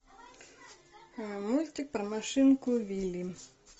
мультик про машинку вилли